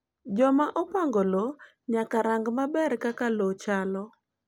Joma opango lowo nyaka rang’ maber kaka lowo chalo.